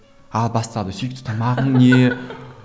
ал бастады сүйікті тамағың не